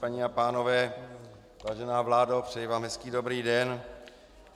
Paní a pánové, vážená vládo, přeji vám hezký dobrý den.